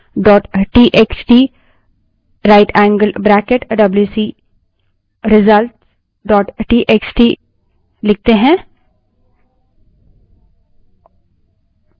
मानिए कि हम WC space test one dot TXT writeएंगल्ड bracket WC result dot TXT wc space test1 dot txt rightangled bracket wc _ results dot txt लिखें